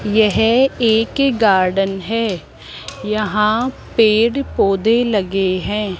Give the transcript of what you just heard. यह एक गार्डन है यहां पेड़ पौधे लगे है।